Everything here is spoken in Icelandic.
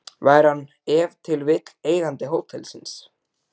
Væri hann ef til vill eigandi hótelsins?